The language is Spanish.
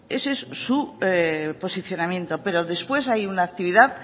ese es su posicionamiento pero después hay una actividad